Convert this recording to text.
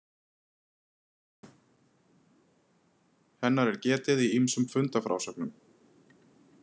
Hennar er getið í ýmsum fundafrásögnum.